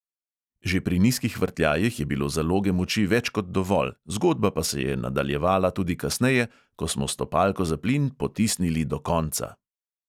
Že pri nizkih vrtljajih je bilo zaloge moči več kot dovolj, zgodba pa se je nadaljevala tudi kasneje, ko smo stopalko za plin potisnili do konca.